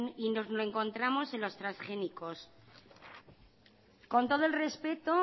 y nos lo encontramos en los transgénicos con todo el respeto